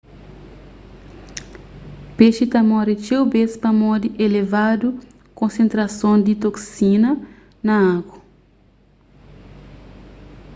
pexi ta móre txeu bês pamodi elevadu konsentrason di toksina na agu